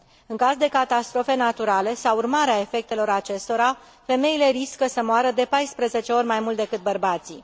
În caz de catastrofe naturale, sau urmare a efectelor acestora, femeile riscă să moară de 14 ori mai mult decât bărbații.